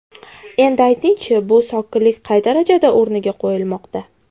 Endi ayting-chi, bu sokinlik qay darajada o‘rniga qo‘yilmoqda?